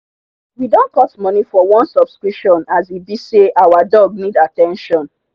we don cut money for one subscription as e be say our dog need at ten tion